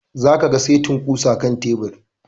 Za ka ga setin ƙusan a kan tebur